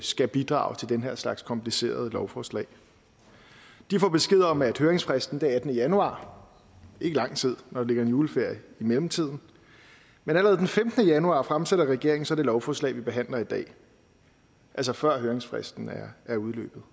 skal bidrage til den her slags komplicerede lovforslag de får besked om at høringsfristen er den attende januar ikke lang tid når der ligger en juleferie i mellemtiden men allerede den femtende januar fremsætter regeringen så det lovforslag vi behandler i dag altså før høringsfristen er udløbet